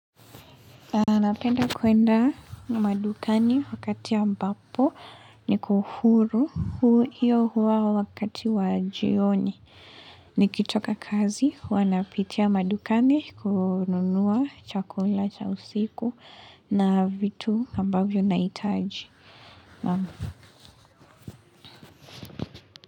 Napenda kuenda madukani wakati ambapo niko huru. Huo hiyo wakati wa jioni. Nikitoka kazi huwa napitia madukani kununua chakula cha usiku na vitu ambavyo nahitaji.